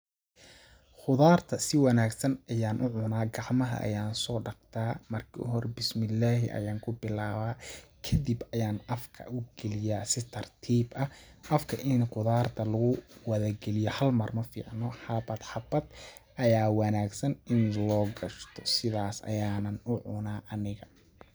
Qudaar ta si wanaagsan ayaan u cunaa gacmaha ayaan soo dhaqdaa, kadib ayaan afka u galiyaa si tartiib ah ,afka ini qudaarta hal mar lawada gaiyo ma fiicno ,xabad xabad ayaa wanaagsan in loo gashto sidaas ayaanan u cunaa aniga.